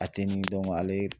A tɛ nin dɔn ale